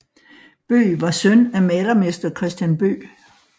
Bøgh var søn af malermester Christian Bøgh